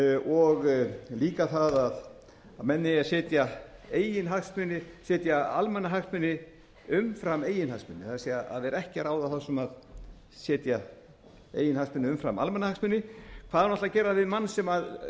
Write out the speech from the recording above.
og líka það að menn eigi að setja almannahagsmuni umfram eigin hagsmuni það er að vera ekki að ráða þá sem setja eigin hagsmuni umfram almannahagsmuni hvað hún ætli að gera við mann sem er